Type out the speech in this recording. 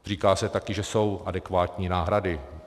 Říká se také, že jsou adekvátní náhrady.